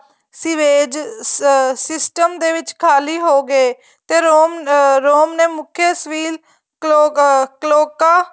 sewage system ਦੇ ਵਿੱਚ ਖਾਲੀ ਹੋ ਗਏ ਤੇ ਰੋਮ ਨੇ ਮੁੱਖ ਏ ਸਵੀਵ ਕਲੋਗ ਕ੍ਲੋਕਾਂ